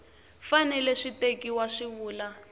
fanele swi tekiwa swi vula